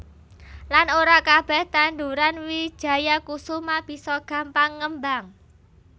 Lan ora kabeh tandhuran wijaya kusuma bisa gampang ngembang